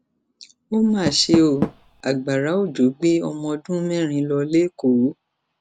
ó mà ṣe ọ agbára òjò gbé ọmọọdún mẹrin lọ lẹkọọ